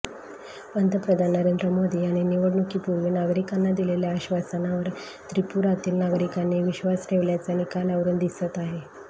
पंतप्रधान नरेंद्र मोदी यांनी निवडणुकीपूर्वी नागरिकांना दिलेल्या आश्वासनावर त्रिपुरातील नागरिकांनी विश्वास ठेवल्याचं निकालावरुन दिसत आहे